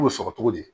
cogo di